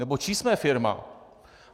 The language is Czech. Nebo čí jsme firma?